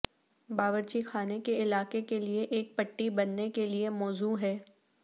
باورچی خانے کے علاقے کے لئے ایک پٹی بننے کے لئے موزوں ہے